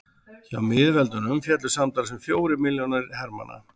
hjá miðveldunum féllu samtals um fjórir milljónir hermanna